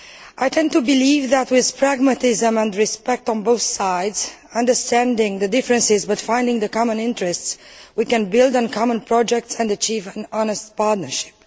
I tend to believe that, with pragmatism and respect on both sides, understanding differences but finding common interests, we can build on common projects and achieve an honest partnership.